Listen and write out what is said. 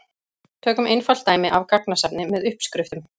Tökum einfalt dæmi af gagnasafni með uppskriftum.